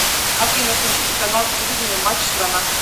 афина включите канал телевидения матч страна